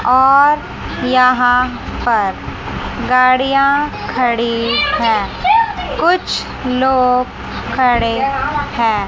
और यहां पर गाड़ियां खड़ी है कुछ लोग खड़े हैं।